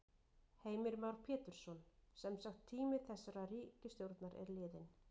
Heimir Már Pétursson: Semsagt tími þessarar ríkisstjórnar er liðinn?